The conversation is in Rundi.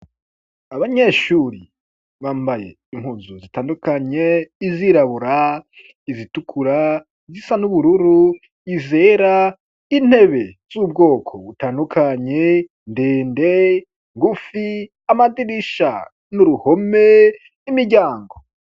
Abanyeshuri bambaye impuzu zitandukanye izirabura izitukura zisa n'ubururu izera intebe z'ubwoko butandukanye ndende ngufi amadirisha n'uruhome n'imiryango.